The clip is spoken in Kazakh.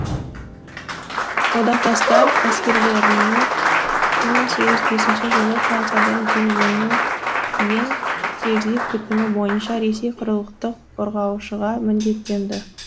одақтастар әскерлерінің бір мың сегіз жүз бесінші жылы франциядан жеңілуінен кейін тильзит бітімі бойынша ресей құрылықтық қорғаушыға міндеттенді